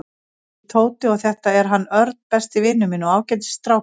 Ég heiti Tóti og þetta er hann Örn, besti vinur minn og ágætis strákur.